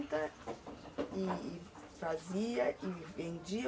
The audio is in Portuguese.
E fazia e vendia?